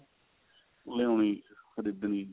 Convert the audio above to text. ਲਿਆਉਣੀ ਖਰੀਦਣੀ